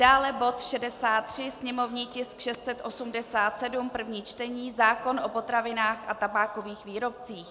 Dále bod 63, sněmovní tisk 687, první čtení, zákon o potravinách a tabákových výrobcích.